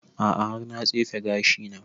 A'a har na tsefe gashi na